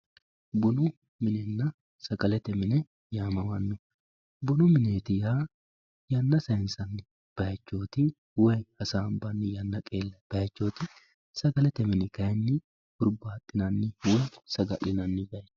bunu minenna sagalete mini yaamamanno nunu mineeti yaa yanna sayinsanni bayiichoti woy hasaanbanni yanna xiinbanni baychooti sagalete mini hayiinni hurbaaxxinanniho woy saga'linanni baychooti.